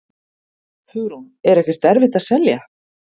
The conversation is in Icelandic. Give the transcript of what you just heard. Hugrún: Er ekkert erfitt að selja?